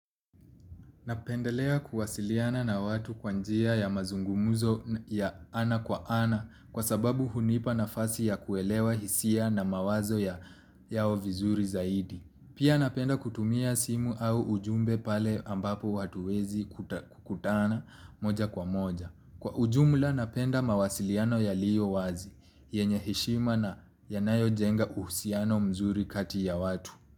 Napendelea kuwasiliana na watu kwa njia ya mazungumuzo ya ana kwa ana kwa sababu hunipa nafasi ya kuelewa hisia na mawazo yao vizuri zaidi. Pia napenda kutumia simu au ujumbe pale ambapo hatuwezi kutana moja kwa moja. Kwa ujumula napenda mawasiliano yaliyo wazi, yenye heshima na yanayojenga uhusiano mzuri kati ya watu.